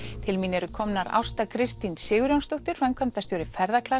til mín eru komnar Ásta Kristín Sigurjónsdóttir framkvæmdastjóri